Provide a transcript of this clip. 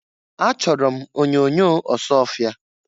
Achọrọ m onyoonyo Ọsụọfịa.